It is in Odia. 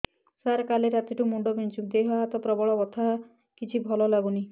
ସାର କାଲି ରାତିଠୁ ମୁଣ୍ଡ ବିନ୍ଧୁଛି ଏବଂ ଦେହ ହାତ ପ୍ରବଳ ବଥା କିଛି ଭଲ ଲାଗୁନି